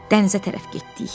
Dənizə tərəf getdik.